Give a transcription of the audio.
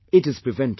It is preventable